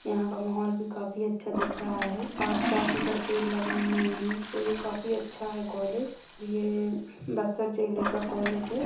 यहाँ का माहौल भी काफी अच्छा दिख रहा है आसपास उधर पेड़ लगे हुए है और ये काफी अच्छा है कॉलेज ये बस्तर जिले का कॉलेज है।